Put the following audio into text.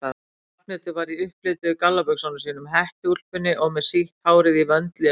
Ragnhildur var í upplituðu gallabuxunum sínum, hettuúlpunni og með sítt hárið í vöndli um hálsinn.